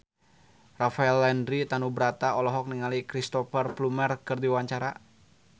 Rafael Landry Tanubrata olohok ningali Cristhoper Plumer keur diwawancara